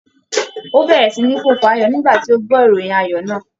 Ó bẹ̀rẹ̀ sí ní fò fáyọ̀ nígbà tí ó gbọ́ ìròyìn ayọ̀ náà.